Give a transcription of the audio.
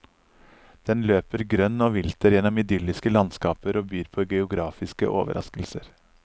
Den løper grønn og vilter gjennom idylliske landskaper og byr på geografiske overraskelser.